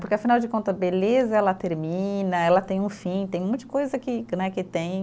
Porque, afinal de conta, beleza ela termina, ela tem um fim, tem um monte coisa que que né, que tem.